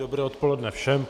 Dobré odpoledne všem.